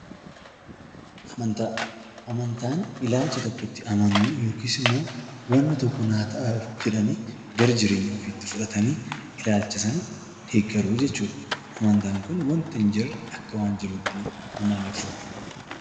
Amantaa, amantaan ilaalcha tokkotti amanuu yookiis immoo waanna tokko naa ta'a jedhanii gara jireenya ofiitti fudhatanii ilaalcha sana deeggaruu jechuudha. Amantaan kun waanta hin jirre akka waan jirutti amananii fudhachuudha.